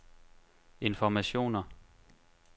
informationer